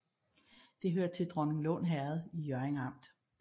Det hørte til Dronninglund Herred i Hjørring Amt